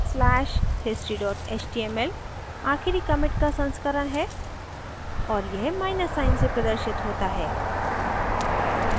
a slash history html आखिरी commit का संस्करण है और यह माइनस साइन से प्रदर्शित होता है